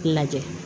Lajɛ